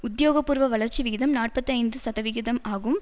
உத்தியோகபூர்வ வளர்ச்சி விகிதம் நாற்பத்தி ஐந்து சதவிகிதம் ஆகும்